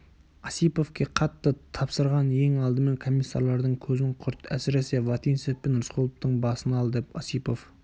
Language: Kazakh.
осиповке қатты тапсырған ең алдымен комиссарлардың көзін құрт әсіресе вотинцев пен рысқұловтың басын ал деп осипов